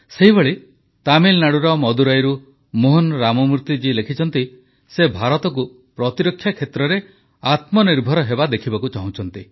ସେହିଭଳି ତାମିଲନାଡୁର ମଦୁରାଇରୁ ମୋହନ ରାମମୂର୍ତ୍ତିଜୀ ଲେଖିଛନ୍ତି ଯେ ସେ ଭାରତକୁ ପ୍ରତିରକ୍ଷା କ୍ଷେତ୍ରରେ ଆତ୍ମନିର୍ଭର ହେବା ଦେଖିବାକୁ ଚାହୁଁଛନ୍ତି